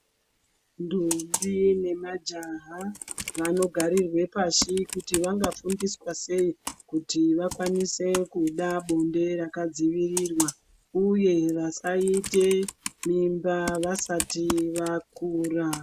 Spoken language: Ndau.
Ntombi nemajaha vanogarirwe pashi kuti vangafundiswa sei kuti vakwanise kuda bonde rakadzivirirwa uye vasaite mimba vasati vakura .